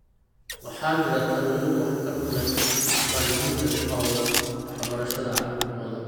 Waxaa jira talooyin waxtar u leh waalidiinta ku hawlan waxbarashada carruurtooda.